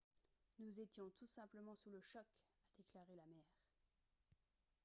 « nous étions tous simplement sous le choc » a déclaré la mère